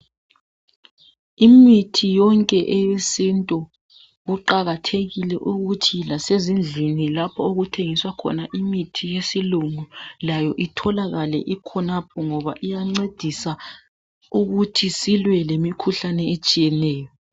Imithi yonke eyesintu kuqakathekile ukuthi lasezindlini lapho okuthengiswa khona imithi yesilungu layo itholakale ikhonapho ngoba iyancedisa ukuthi silwe lemikhuhlane etshiyeneyo.